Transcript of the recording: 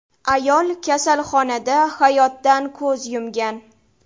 Ayol kasalxonada hayotdan ko‘z yumgan .